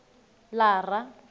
lara